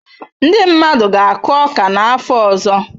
Ndị mmadụ ga-akụ ọka n'afọ ọzọ.